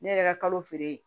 Ne yɛrɛ ka kalo feere ye